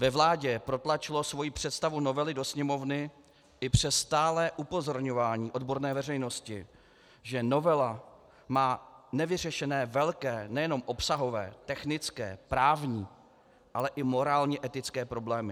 Ve vládě protlačilo svoji představu novely do Sněmovny i přes stálé upozorňování odborné veřejnosti, že novela má nevyřešené velké nejenom obsahové, technické, právní, ale i morálně etické problémy.